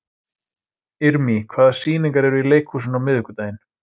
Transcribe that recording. Irmý, hvaða sýningar eru í leikhúsinu á miðvikudaginn?